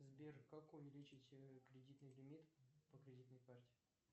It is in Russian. сбер как увеличить кредитный лимит по кредитной карте